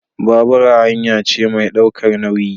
Babura hanya ce mai ɗaukar nauyi